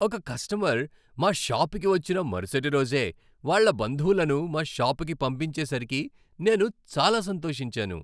ఒక కస్టమర్ మా షాపుకి వచ్చిన మరుసటి రోజే వాళ్ళ బంధువులను మా షాపుకి పంపించేసరికి నేను చాలా సంతోషించాను.